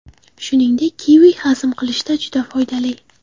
Shuningdek, kivi hazm qilishda juda foydali.